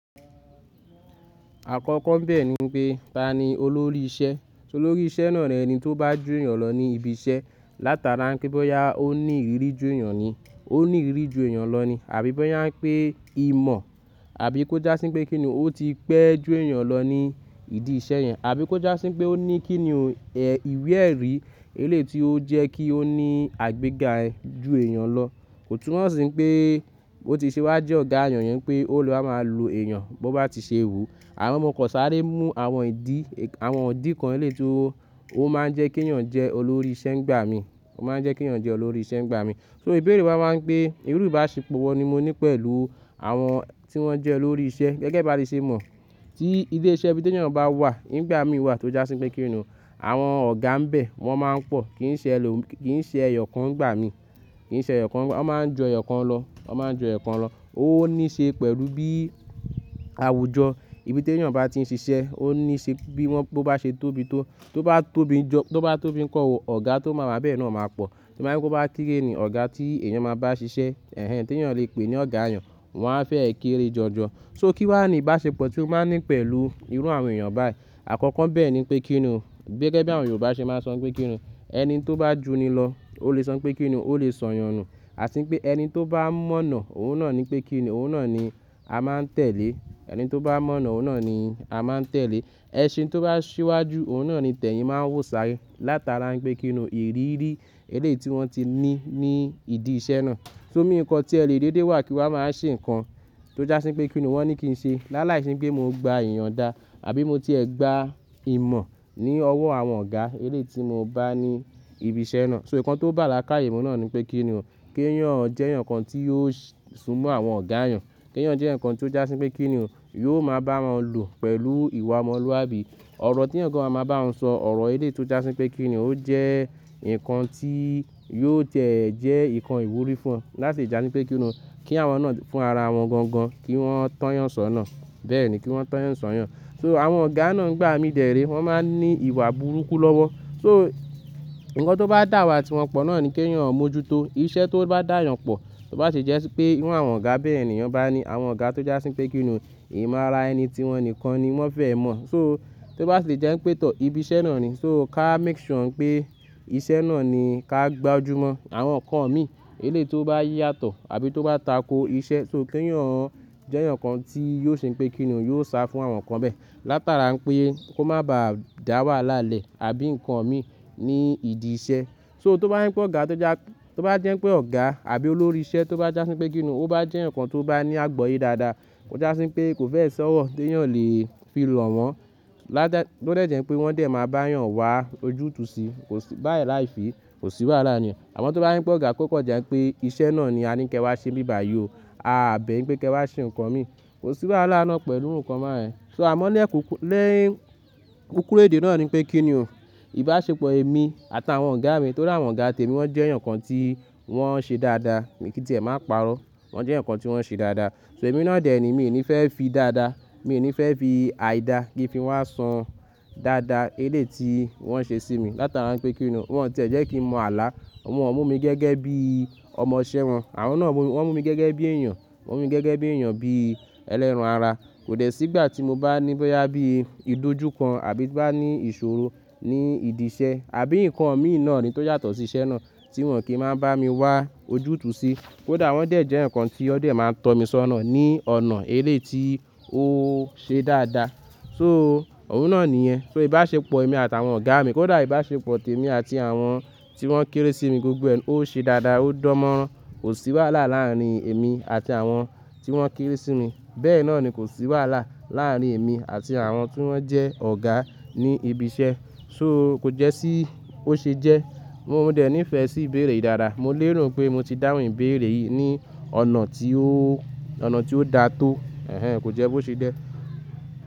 Àkọ́kọ́ bẹ́ẹ̀ ni pé, ta ni olórí isẹ́? Olórí isẹ́ náà ni ẹni tó bá ju èèyàn lọ ní ibi isẹ́. Látara pé bọ́ya ó ní ìrírí ju èèyàn ni, ó ní ìrírí ju èèyàn lọ ni. Àbí bọ́ya pé imọ̀ àbí kó jásín pé kí ni ó ti pẹ́ ju èèyàn lọ ní ìdí iṣẹ́ yẹn. Àbí kó jásín pé ó ní kí ni ìwé ẹ̀rí elé ti ó jẹ́ kí ó ní àgbéga ju èèyàn lọ. Kò tún mo si pé bó ti ṣe wá jẹ́ ọ̀gá èèyàn yẹn pé ó lọ bá máa lo èèyàn bó bá ti ṣe wùú. Amo mọ kò sáré mú àwọn ìdí, àwọn idì kan ẹlẹ́ti ó máa ń jẹ́ kí èèyàn jẹ́ olórí isẹ́ ń gbà mí. Ó máa ń jẹ́ kí èèyàn jẹ́ olórí isẹ́ ń gbà mí. So ìbéèrè wa máa ń pé, irú ìbáṣepọ̀ wo ni mo ní pẹ̀lú àwọn tí wón jẹ́ olórí isẹ́ gẹ́gẹ́ bí a ti ṣe mọ̀. Tí ilé iṣẹ́ ibi tí èèyàn bá wà, ń gbà mí wà tó jásín pé kí ni, àwọn ọ̀gá ń bẹ̀, wọ́n máa ń pọ̀. Kì í ṣe ẹlò, kì í ṣe ẹ̀yọ̀ kan ń gbà mí. Kì í ṣe ẹ̀yọ̀ kan, wọ́n máa ń ju ẹ̀yọ̀ kan lọ. Wọ́n máa ń jọ ẹ̀yọ̀ kan lọ. Ó níí ṣe pẹ̀lú bí àwùjọ ibi tí èèyàn bá ti ń ṣiṣẹ́, ó níí ṣe bí wọ́n bó bá ṣe tóbi tó. Tó bá tóbi jó, tó bá tóbi ń kọ́ ọ, ọ̀gá tó máa ma bẹ́ẹ̀ náà máa pọ̀. Ti o bá je pé o ba kere ni ọ̀gá tí èèyàn máa bá ṣiṣẹ́, èhèn tí èèyàn lè pè ní ọ̀gá èèyàn, wọ́n á fẹ́ èkére jọjọ. So kí wà ní ìbáṣepọ̀ tí ó máa ń ní pẹ̀lú irú àwọn èèyàn báyìí? Àkọ́kọ́ bẹ́ẹ̀ ni pé kí ni, gẹ́gẹ́ bí àwọn Yorùbá ṣe máa ń sọ pé kí ni, ẹni tó bá ju ni lọ, ó lè sọ pé kí ni, ó lè sọ̀yọ̀nù. Àtí ń pé ẹni tó bá mọ̀nà, òun náà ni pé kí ni, òun náà ni a máa ń tẹ̀lé. Ẹni tó bá mọ̀nà, òun náà ni a máa ń tẹ̀lé. Ẹṣin tó bá ṣíwájú, òun náà ni tẹ̀yìn máa ń wò sáré. Látara pé kí ni ìrírí elé ti wọ́n ti ní ní ìdí iṣẹ́ náà. So mí nǹkan tí ẹ lè dédé wà kí a máa ṣe nǹkan tó jásín pé kí ni wọ́n ní kí n ṣe. Láláìse pé mo ń gba ìyàndá àbí mo ti ẹ̀ gbá imọ̀ ní ọwọ́ àwọn ọ̀gá elé tí mo bá ní ibi iṣẹ́ náà. So ǹkan tó bá la'káàyè mu náà ni pé kí ni, kí èèyàn jẹ́ ǹkan tí yóò sunmọ àwọn ọ̀gá èèyàn. Kí èèyàn jẹ́ ǹkan tí ó jásín pé kí ni yóò máa bá wọn lò pẹ̀lú ìwà ọmọlúwàbí. Ọ̀rọ̀ tí eeyaǹ kan a máa bá wọn sọ, ọ̀rọ̀ elé tí ó jásín pé kí ni ó jẹ́ ǹkan tí yóò tẹ̀ ẹ́ jẹ́ ǹkan ìwúrí fún wọn. Láti ìjà ní pé kí ni kí àwọn náà fún ara wọn gangan, kí wọ́n tọ́yan sọ̀nà. Bẹ́ẹ̀ ni kí wọ́n tọ́yan sọ̀yọ̀n. So àwọn ọ̀gá náà ń gbà mí dèré, wọ́n máa ń ní ìwà burúkú lọ́wọ́. So ǹkan tó bá dà wá tí wọn pọ̀ náà ni kí èèyàn mójútó. Iṣẹ́ tó bá dà yàn pọ̀, tó bá sì jẹ́ pé irú àwọn ọ̀gá bẹ́ẹ̀ ènìyàn bá ní, àwọn ọ̀gá tó jásín pé kí ni, ìmo ara ẹni tí wọn nìkan ni wọ́n fẹ́ mọ̀. So tó bá sì jẹ́ ń pẹ̀tọ̀ ibi iṣẹ́ náà ni. So ká make sure pé iṣẹ́ náà ni ká gbajúmọ̀. Àwọn ǹkan mi elé tó bá yí yàtọ̀ àbí tó bá tako iṣẹ́, so kí èèyàn jẹ́ ǹkan tí yóò ṣe pé kí ni yóò sá fún àwọn ǹkan bẹ́ẹ̀. Látara pé kó má ba à dà wáhala lẹ̀, àbí ǹkan mi ní ìdí iṣẹ́. So tó bá jẹ́ pé ọ̀gá tó já, tó bá jẹ́ pé ọ̀gá àbí olórí isẹ́ tó bá jásín pé kí ni, ó bá jẹ́ ǹkan tó bá ní àgboyé dáadáa. Ó jásín pé kò fẹ́ sọ́wọ́, tí èèyàn lè fi lọ̀ wọ́n. Látara bo dẹ̀ jẹ́ pé wọ́n dẹ̀ máa bá èèyàn wá ojútùú síí. Kò sí báyìí láì fí, kò sí wáhala ni. Àmọ́ tó bá jẹ́ pé ọ̀gá kó kan jẹ́ pé iṣẹ́ náà ni a ní kí ẹ wá ṣe bíbàyè o. A àbe yiń pé kí ẹ wá ṣe ǹkan mi. Kò sí wáhalá ná pẹ̀lú iru ǹkan báa yẹn. So àmọ́ ní ẹ̀kú, ni kúkúrú èdè náà ni pé kí ni ìbáṣepọ̀ èmi àtàwọn ọ̀gá mi tó ri àwọn ọ̀gá tèmi, wọ́n jẹ́ eeyan kan tí wọ́n ṣe dáadáa. Mi kí tì ẹ máa pàrọ́. Wọ́n jẹ́ eeyaǹ kan tí wọ́n ṣe dáadáa. So èmi náà dè ẹ́ ni, mi ò ní fẹ́ fi dáadáa. So ǹkan tó bá la'káàyè mu náà ni pé kí ni, kí èèyàn jẹ́ ǹkan tí yóò sunmọ àwọn ọ̀gá èèyàn. Wọ́n mú mi gẹ́gẹ́ bí ọmọ isẹ́ wọn. Àwọn náà mú mi, wọ́n mú mi gẹ́gẹ́ bí èèyàn. Wọ́n mú mi gẹ́gẹ́ bí èèyàn bí ẹlẹ́ran ara. Kò dẹ̀ sígbà tí mo bá ní bọ́yá bí ìdójúkan àbí bá ní ìṣòro ní ìdí iṣẹ́. Àbí ǹkan mi náà ni tó yàtọ̀ sí iṣẹ́ náà tí wọn kì í máa bá mi wá ojútùú sí. Kódà wọ́n dẹ̀ jẹ́ ǹkan tí wọn dẹ̀ máa tọ́ mi sọ́nà ní ọ̀nà elé tí ó ṣe dáadáa. So òun náà nìyẹn. So ìbáṣepọ̀ èmi àtàwọn ọ̀gá mi, kódà ìbáṣepọ̀ tèmi àti àwọn tí wọ́n kéré sí mi gbogbo ẹ́, ó ṣe dáadáa, ó dánmọ́rán. Kò sí wàhálà láàrin èmi àti àwọn tí wọ́n kéré sí mi. Bẹ́ẹ̀ náà ni kò sí wàhálà láàrin èmi àti àwọn tí wọ́n jẹ́ ọ̀gá ní ibi isẹ́. So kò jẹ́ sí ó ṣe jẹ́. Mo dẹ̀ ní ìfẹ́ sí ìbéèrè dáadáa. Mo lérò pé mo ti dáhùn ìbéèrè yìí ní ọ̀nà tí ó, ọ̀nà tí ó da tó. Ẹ̀hẹn, kò jẹ́ bó ṣe jé.